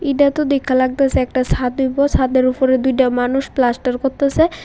এটা তো দেখা লাগতাসে একটা ছাদ হইবো ছাদের উপরে দুইডা মানুষ প্লাস্টার করতাসে।